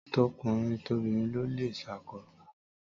Tọkùnrin tobìnrin ló lè ṣákọ́